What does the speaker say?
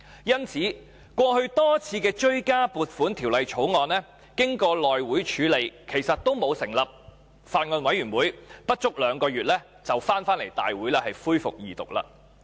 因此，過去多項追加撥款條例草案經內務委員會處理後，其實也沒有成立法案委員會，但不足兩個月便可交回大會恢復二讀。